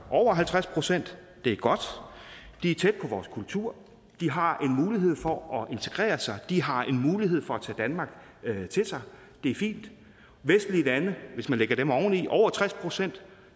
over halvtreds procent det er godt de er tæt på vores kultur og de har en mulighed for at integrere sig de har en mulighed for at tage danmark til sig det er fint vestlige lande hvis man lægger dem oveni over tres procent